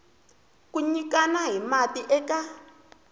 ku nyikana hi mati eka